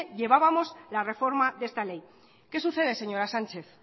llevábamos la reforma de esta ley qué sucede señora sánchez